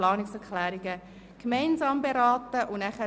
Das ist nicht der Fall.